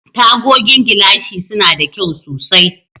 Tagogin gilashi suna da kyau sosai.